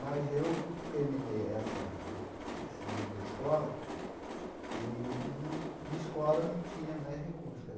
Mas eu terminei essa esse nível da escola e, não de escola, não tinha mais recursos.